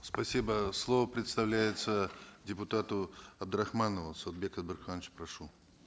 спасибо слово предоставляется депутату абдрахманову сауытбек абдрахманович прошу